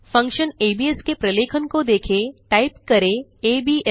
function ABS के प्रलेखन को देखें टाइप करें abs